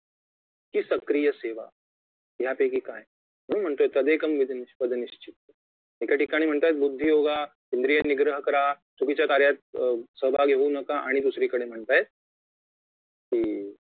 की सक्रिय सेवा यापैकी काय म्हणून म्हणतोय तदेकं वद निश्चित्य एका ठिकाणी म्हणतायेत बुद्धी योगा इंद्रिय निग्रह करा चुकीच्या कार्यात सहभागी होऊ नका आणि दुसरी कडे म्हणतायेत की